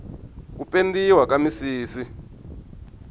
ku pendiwa ka misisi